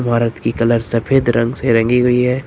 इमारत की कलर सफेद रंग से रंगी हुई है।